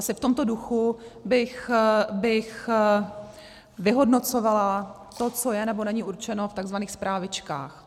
Asi v tomto duchu bych vyhodnocovala to, co je, nebo není určeno v tzv. Zprávičkách.